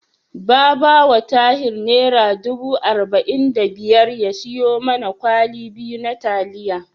Ba ba wa Tahir Naira dubu arba'in da biyar ya siyo mana kwali biyu da taliya.